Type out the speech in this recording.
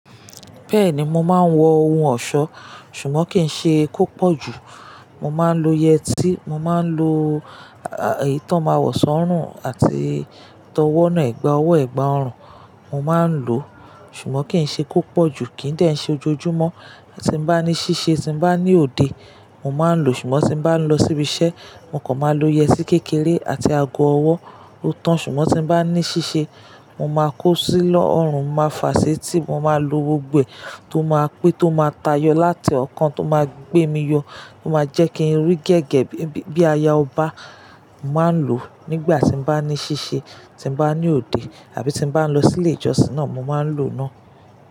Bẹ́ẹ̀ni, mo máa ń wọ ohun ọ̀ṣọ́, ṣùgbọ́n kì í ṣe kò pọ̀ jù. Mo máa ń lo yẹtí, mo máa ń lo, à, èyí tó máa wọ̀ sọ́rùn àti tọwọ́ náà, ẹ̀gbà ọwọ́, ẹ̀gbà ọrùn, mo máa ń lò ó, ṣùgbọ́n kì í ṣe kò pọ̀ jù, kì í dẹ̀ ṣe ojoojúmọ́. Tí n bá ní ṣíṣe, tí n bá ní òde, mo máa ń lò ó, ṣùgbọ́n tí n bá ń lọ síbi iṣẹ́, mo kàn máa lo yẹtí kékeré àti ago ọwọ́ ótán, ṣùgbọ́n tí n bá ní ṣíṣe, mo máa kó sí lọ́ ọrùn, mo máa fà á sétè, mo máa lo gbogbo ẹ̀ tó máa pé, tó máa tayọ láti ọ̀ọ́kán, tó máa gbé mi yọ, tó máa jẹ́ kí n rí gẹ́gẹ́ bí, bí aya ọba, mo máa ń lò ó nígbà tí n bá ní ṣíṣe, tí n bá ní òde àbí tí n bá ń lọ sí ilé ìjọsìn náà, mo máa ń lò ó náà.